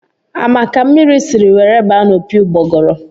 A ma ka mmiri si were baa n' opi ugbogoro?